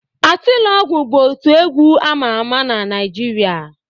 Atilogwu bụ otu egwu ama ama na Naịjirịa